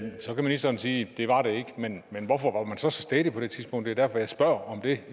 så kan ministeren sige det var det ikke men hvorfor var man så så stædig på det tidspunkt det er derfor jeg spørger om det